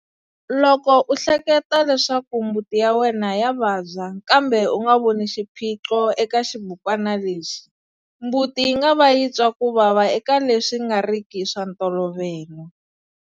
Loko u ehleketa leswaku mbuti ya wena ya vabya kambe u nga voni xiphiqo eka xibukwana lexi, mbuti yi nga va yi twa ku vava eka leswi nga ri ki swa ntolovelo.